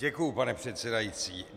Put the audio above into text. Děkuji, pane předsedající.